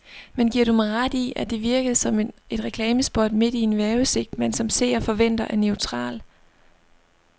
Men giver du mig ret i, at det virkede som et reklamespot midt i en vejrudsigt, man som seer forventer er neutral.